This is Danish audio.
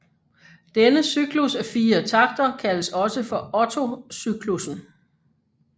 Denne cyklus af fire takter kaldes også for Otto cyklussen